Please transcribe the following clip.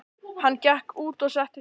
Hann gekk út og settist á stein.